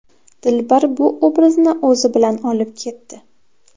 Dilbar bu obrazni o‘zi bilan olib ketdi.